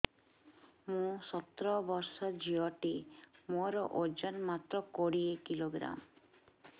ମୁଁ ସତର ବର୍ଷ ଝିଅ ଟେ ମୋର ଓଜନ ମାତ୍ର କୋଡ଼ିଏ କିଲୋଗ୍ରାମ